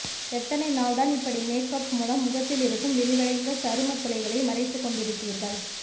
எத்தனை நாள் தான் இப்படி மேக்கப் மூலம் முகத்தில் இருக்கும் விரிவடைந்த சருமத் துளைகளை மறைத்துக் கொண்டிருப்பீர்கள்